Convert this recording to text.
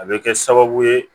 A bɛ kɛ sababu ye